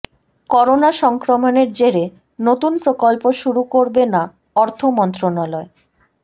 corona সংক্রমণের জেরে নতুন প্রকল্প শুরু করবে না অর্থ মন্ত্রণালয়